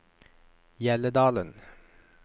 Hjelledalen